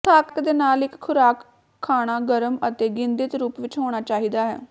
ਥੱਕ ਦੇ ਨਾਲ ਇੱਕ ਖੁਰਾਕ ਖਾਣਾ ਗਰਮ ਅਤੇ ਗਿੰਧਿਤ ਰੂਪ ਵਿੱਚ ਹੋਣਾ ਚਾਹੀਦਾ ਹੈ